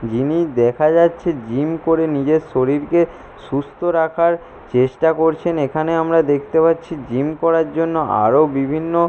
যিনি দেখা যাচ্ছে জিম করে নিজের শরীরকে সুস্থ রাখার চেষ্টা করছে এইখানে আমরা দেখতে পাচ্ছি জিম করার জন্য আরও বিভিন্ন--